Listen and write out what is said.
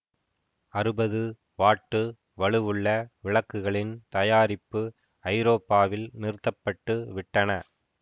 அறுபது வாட்டு வலுவுள்ள விளக்குகளின் தயாரிப்பு ஐரோப்பாவில் நிறுத்த பட்டு விட்டன